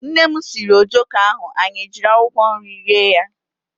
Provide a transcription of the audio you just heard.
Nnem siiri ojoko ahụ anyị ejiri akwụkwọ nri rie ya.